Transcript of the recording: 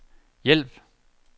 hjælp